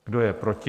Kdo je proti?